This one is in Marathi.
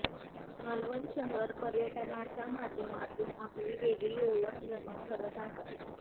मालवण शहर पर्यटनाच्या माध्यमातून आपली वेगळी ओळख निर्माण करत आहे